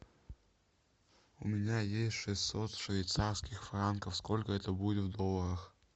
у меня есть шестьсот швейцарских франков сколько это будет в долларах